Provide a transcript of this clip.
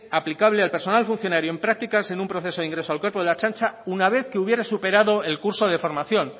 aplicable al personal funcionario en prácticas en un proceso de ingreso al cuerpo de la ertzaintza una vez que hubiera superado el curso de formación